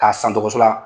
K'a san dɔgɔso la